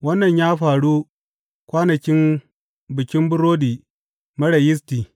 Wannan ya faru kwanakin Bikin Burodi Marar Yisti.